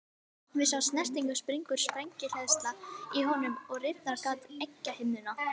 Við þá snertingu springur sprengihleðsla í honum og rýfur gat á egghimnuna.